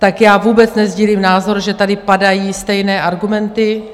Tak já vůbec nesdílím názor, že tady padají stejné argumenty.